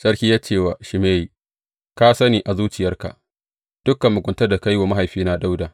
Sarki ya ce wa Shimeyi, Ka sani a zuciyarka dukan muguntar da ka yi wa mahaifina Dawuda.